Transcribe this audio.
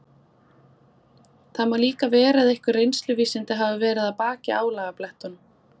Það má líka vera að einhver reynsluvísindi hafi verið að baki álagablettunum.